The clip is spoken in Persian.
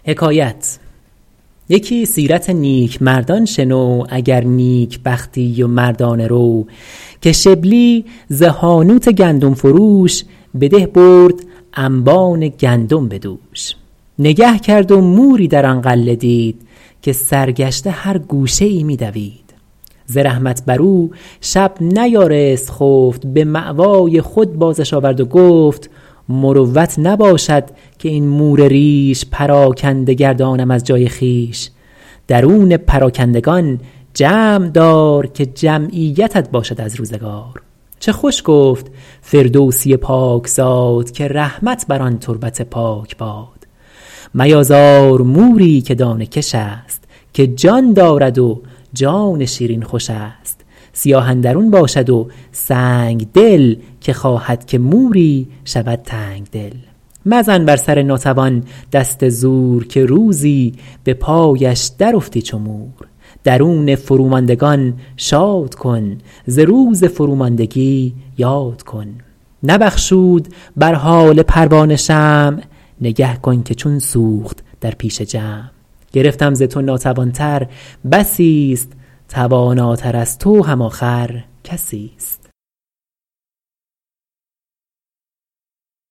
یکی سیرت نیکمردان شنو اگر نیکبختی و مردانه رو که شبلی ز حانوت گندم فروش به ده برد انبان گندم به دوش نگه کرد و موری در آن غله دید که سرگشته هر گوشه ای می دوید ز رحمت بر او شب نیارست خفت به مأوای خود بازش آورد و گفت مروت نباشد که این مور ریش پراکنده گردانم از جای خویش درون پراکندگان جمع دار که جمعیتت باشد از روزگار چه خوش گفت فردوسی پاک زاد که رحمت بر آن تربت پاک باد میازار موری که دانه کش است که جان دارد و جان شیرین خوش است سیاه اندرون باشد و سنگدل که خواهد که موری شود تنگدل مزن بر سر ناتوان دست زور که روزی به پایش در افتی چو مور درون فروماندگان شاد کن ز روز فروماندگی یاد کن نبخشود بر حال پروانه شمع نگه کن که چون سوخت در پیش جمع گرفتم ز تو ناتوان تر بسی است تواناتر از تو هم آخر کسی است